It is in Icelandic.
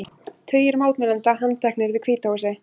Tugir mótmælenda handteknir við Hvíta húsið